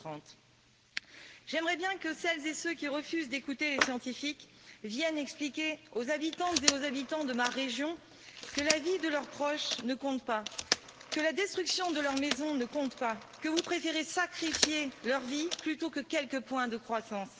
2030. J'aimerais bien que celles et ceux qui refusent d'écouter les scientifiques viennent expliquer aux habitantes et aux habitants de ma région que la vie de leurs proches ne compte pas, que la destruction de leur maison ne compte pas, que vous préférez sacrifier leur vie plutôt que quelques points de croissance.